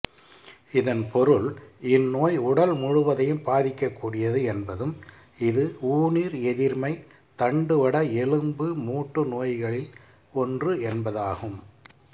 இதன் பொருள் இந்நோய் உடல் முழுவதையும் பாதிக்கக்கூடியது என்பதும் இது ஊனீர்எதிர்மை தண்டுவட எலும்பு மூட்டு நோய்களில் ஒன்று என்பதாகும்